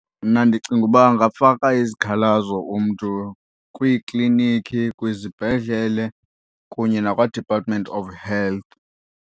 Mna ndicinga uba angafaka izikhalazo umntu kwiiklinikhi, kwizibhedlele kunye nakwaDepartment of Health.